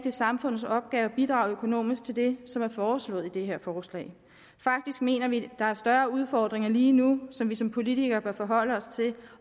er samfundets opgave at bidrage økonomisk til det som er foreslået i det her forslag faktisk mener vi der er større udfordringer lige nu som vi som politikere bør forholde os til